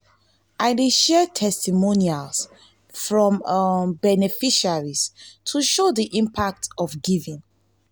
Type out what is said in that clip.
i dey share testimonials from beneficiaries to show the impact of giving.